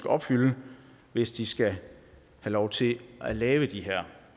opfylde hvis de skal have lov til at lave de her